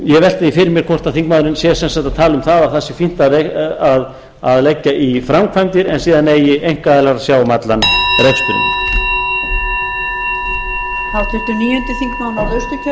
ég velti því fyrir mér hvort þingmaðurinn sé sem sagt að tala um að það sé fínt að leggja í framkvæmdir en síðan eigi einkaaðilar að sjá um allan reksturinn